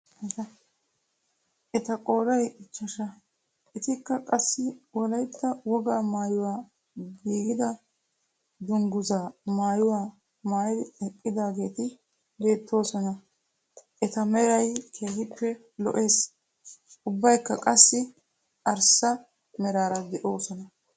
Eta qooday ichchaashsha etikka qassi wollaytta wogaa maayuwaa giidida dunguuzzaa maayuwaa maayidi eqqidaageti beettoosona. Eta meraykka keehippe lo"ees. ubbaykka qassi arssa meraara de'oosona.